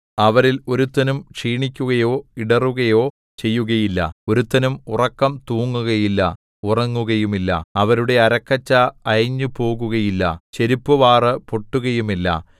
അവരിൽ ഒരുത്തനും ക്ഷീണിക്കുകയോ ഇടറുകയോ ചെയ്യുകയില്ല ഒരുത്തനും ഉറക്കം തൂങ്ങുകയില്ല ഉറങ്ങുകയുമില്ല അവരുടെ അരക്കച്ച അയഞ്ഞുപോവുകയില്ല ചെരിപ്പുവാറു പൊട്ടുകയുമില്ല